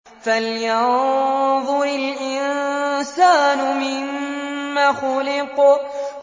فَلْيَنظُرِ الْإِنسَانُ مِمَّ خُلِقَ